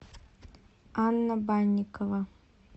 анна банникова